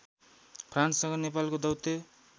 फ्रान्ससँग नेपालको दौत्य